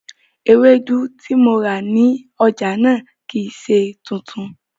Ewédú tí mo rà ní ọjà náà kìí ṣe tuntun